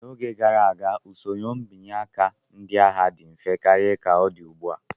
N'oge gara aga, usoro mbanye nke ndị agha dị mfe karịa ka ọ dị ugbu a.